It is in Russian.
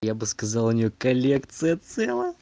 я бы сказал у неё коллекция целая